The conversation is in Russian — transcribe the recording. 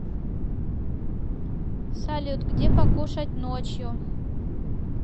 салют где покушать ночью